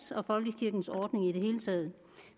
og folkekirkens ordning i det hele taget